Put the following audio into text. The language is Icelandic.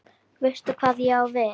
Veistu hvað ég á við?